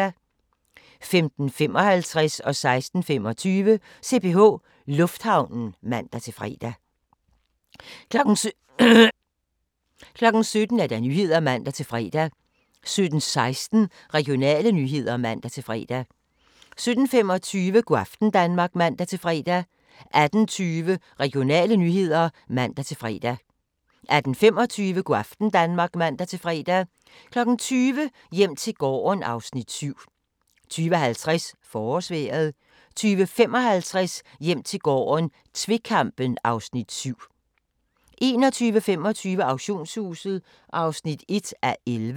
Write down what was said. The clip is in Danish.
16:25: CPH Lufthavnen (man-fre) 17:00: Nyhederne (man-fre) 17:16: Regionale nyheder (man-fre) 17:25: Go' aften Danmark (man-fre) 18:20: Regionale nyheder (man-fre) 18:25: Go' aften Danmark (man-fre) 20:00: Hjem til gården (Afs. 7) 20:50: Forårsvejret 20:55: Hjem til gården - tvekampen (Afs. 7) 21:25: Auktionshuset (1:11)